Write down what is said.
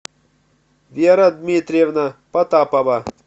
вера дмитриевна потапова